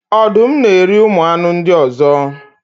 ọdụm na-eri ụmụ anụ ndị ọzọ.